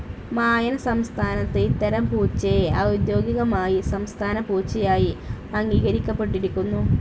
മായൻ സംസ്ഥാനത്ത് ഇത്തരം പൂച്ചയെ ഔദ്യോഗികമായി സംസ്ഥാന പൂച്ചയായി അംഗീകരിക്കപ്പെട്ടിരിക്കുന്നു.